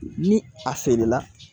Ni a feerela